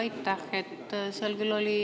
Aitäh!